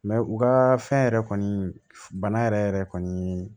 u ka fɛn yɛrɛ kɔni bana yɛrɛ yɛrɛ kɔni